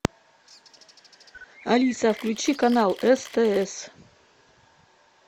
алиса включи канал стс